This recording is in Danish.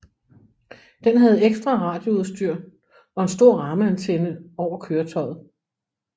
Den havde ekstra radioudstyr og en stor rammeantenne over køretøjet